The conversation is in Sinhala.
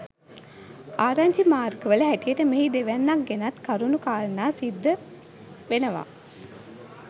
ආරංචි මාර්ග වල හැටියට මෙහි දෙවැන්නක් ගැනත් කරුණු කාරනා සිද්ධ වෙනවා.